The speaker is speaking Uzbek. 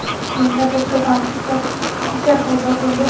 yo‘llarda tirbandlik va tartibsizliklar paydo bo‘ldi.